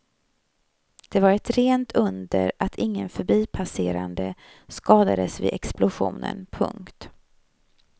Det var ett rent under att ingen förbipasserande skadades vid explosionen. punkt